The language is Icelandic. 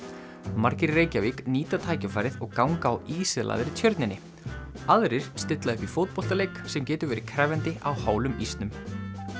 margir í Reykjavík nýta tækifærið og ganga á Tjörninni aðrir stilla upp í fótboltaleik sem getur verið krefjandi á hálum ísnum